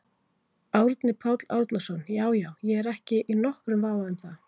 Árni Páll Árnason: Já já, ég er ekki í nokkrum vafa um það?